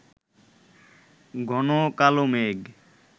ঘন কালো মেঘ